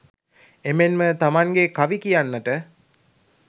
එමෙන්ම තමන්ගේ කවි කියන්නට